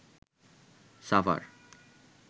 Savar